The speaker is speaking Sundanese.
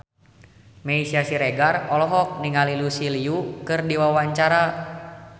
Meisya Siregar olohok ningali Lucy Liu keur diwawancara